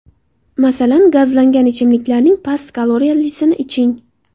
Masalan, gazlangan ichimliklarning past kaloriyalisini iching.